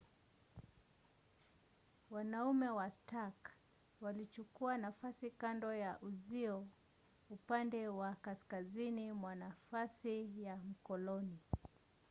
wanaume wa stark walichukua nafasi kando ya uzio upande wa kaskazini mwa nafasi ya mkoloni